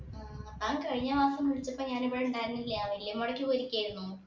താൻ കഴിഞ്ഞമാസം വിളിച്ചപ്പോൾ ഞാൻ ഇവിടെ ഉണ്ടായിരുന്നില്ല വല്യമ്മാടേക്ക് പോയിരിക്കുകയായിരുന്നു.